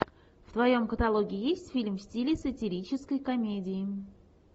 в твоем каталоге есть фильм в стиле сатирической комедии